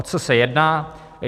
O co se jedná.